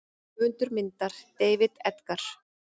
Höfundur myndar: David Edgar.